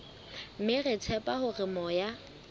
mme re tshepa hore moya